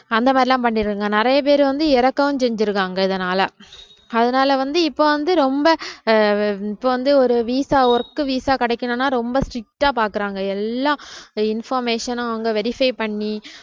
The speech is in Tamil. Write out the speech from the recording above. அந்த மாதிரி எல்லாம் பண்ணியிருக்காங்க நிறைய பேர் வந்து இறக்கவும் செஞ்சிருக்காங்க இதனால அதனால வந்து இப்ப வந்து ரொம்ப ஆஹ் இப்ப வந்து ஒரு visa work visa கிடைக்கணும்னா ரொம்ப strict ஆ பாக்கறாங்க எல்லாம் information அவுங்க verify பண்ணி